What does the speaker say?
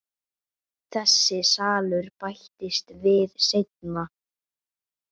Þessi salur bættist við seinna.